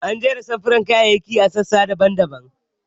An jera samfuran kayayyaki a sassa daban-daban.